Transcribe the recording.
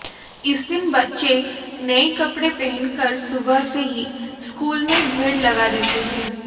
इस दिन बच्चे नए कपड़े पहनकर सुबह से ही स्कूल में भीड़ लगा देते हैं